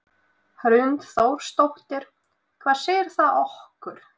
Hrund Þórsdóttir: Hvað segir það okkur?